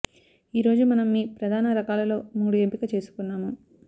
ఈ రోజు మనం మీ ప్రధాన రకాలలో మూడు ఎంపిక చేసుకున్నాము